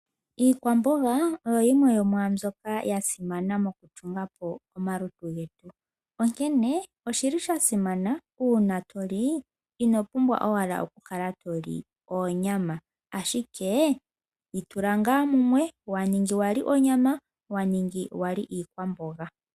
Iikwamboga oyo yimwe yomwambyoka ya simana mo kutungapo omalutu getu . Onkene oshili shasimana uuna toli inopumbwa owala oku kakala toli oonyama ashike dhitula ngaa munwe . Waningi wali onyama ,waningi wali iikwamboga.